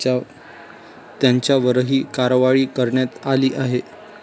त्यांच्यावरही कारवाई करण्यात आली आहे.